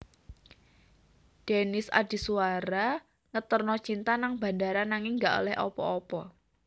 Dennis Adhiswara ngeterno Cinta nang bandara nanging gak oleh apa apa